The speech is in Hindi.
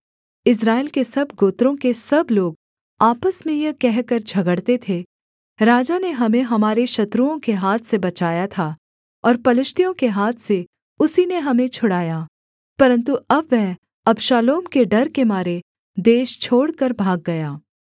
इस्राएल के सब गोत्रों के सब लोग आपस में यह कहकर झगड़ते थे राजा ने हमें हमारे शत्रुओं के हाथ से बचाया था और पलिश्तियों के हाथ से उसी ने हमें छुड़ाया परन्तु अब वह अबशालोम के डर के मारे देश छोड़कर भाग गया